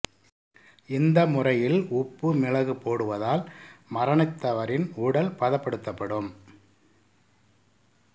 இந்த முறையில் உப்பு மிளகு போடுவதால் மரணித்தவரின் உடல் பதப்படுத்தப்படும்